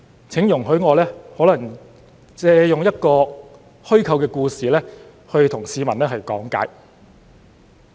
請容許我借用一個虛構故事來向市民講解。